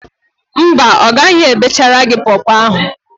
Mba, ọ ghaghị ebechara gị pọọpọọ ahụ.